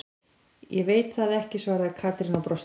Ég veit það ekki svaraði Katrín og brosti.